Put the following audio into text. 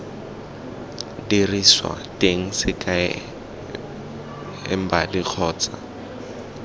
diriswa teng sekai embali kgotsa